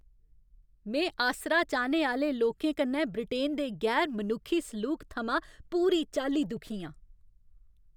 में आसरा चाह्ने आह्‌ले लोकें कन्नै ब्रिटेन दे गैर मनुक्खी सलूक थमां पूरी चाल्ली दुखी आं।